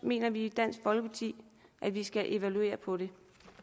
mener vi i dansk folkeparti at vi skal evaluere på det